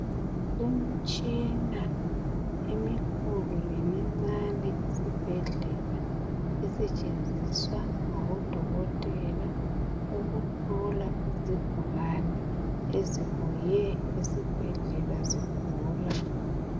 Kulemtshina emikhulu lemincane esibhedlela esetshenziswa ngabodokotela ukuhlola izigulane ezibuye esibhedlela zigula.